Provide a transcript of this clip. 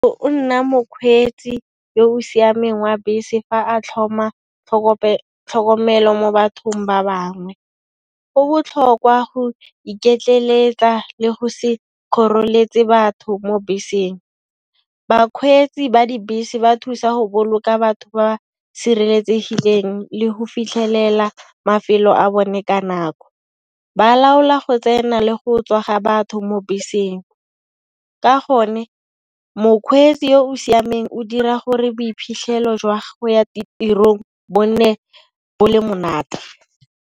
O nna mokgweetsi yo o siameng wa bese fa a tlhoma tlhokomelo mo bathong ba bangwe, go botlhokwa go iketleletsa le go se kgoreletsi batho mo beseng. Bakgweetsi ba dibese ba thusa go boloka batho ba sireletsegileng le go fitlhelela mafelo a bone ka nako, ba laola go tsena le go tswa batho mo beseng, Ka gone mokgweetsi yo o siameng o dira gore boiphitlhelo jwa go ya ditirong bo nne bo le monate.